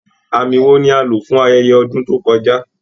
Àmì wo ni a lò fún ayẹyẹ ọdún tó kọjá?